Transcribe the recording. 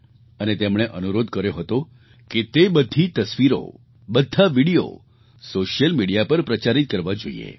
અને તેમણે અનુરોધ કર્યો હતો કે તે બધી તસવીરો બધા વિડિયો સૉશિયલ મિડિયા પર પ્રચારિત કરવાં જોઈએ